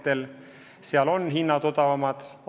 Seepärast on seal ka hinnad odavamad.